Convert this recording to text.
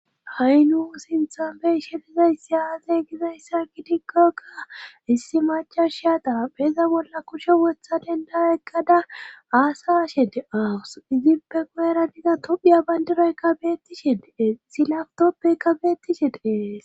Haynu sinthabe ishedizayssi aaze gizayssa kitikkokka issi macha shiyata peza bolla kushe wotha denda ekgada aasaa shedeawus izinpe qu7era diza tophiya bayndireykka bettisheee silaftoppeykka beettishe de7ees